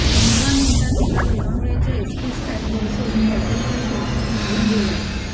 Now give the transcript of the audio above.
पंधरा मिनिटात तिला लोणावळ्याच्या एस टी स्टँडवर सोडून हॉटेलचा शोफर निघून गेला